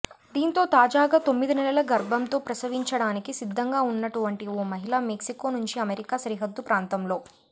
దీంతో తాజాగా తొమ్మిదినెలల గర్భంతో ప్రసవించడానికి సిద్ధంగా ఉన్నటువంటి ఓ మహిళ మెక్సికో నుంచి అమెరికా సరిహద్దు ప్రాంతంలో